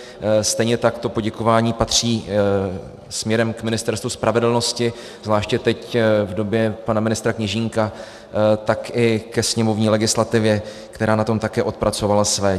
Stejně tak to poděkování patří směrem k Ministerstvu spravedlnosti, zvláště teď v době pana ministra Kněžínka, tak i ke sněmovní legislativě, která na tom také odpracovala své.